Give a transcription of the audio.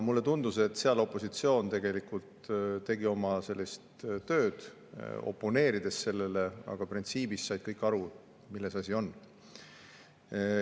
Mulle tundus, et seal opositsioon tegelikult tegi oma tööd, oponeerides sellele, aga printsiibis said kõik aru, milles asi on.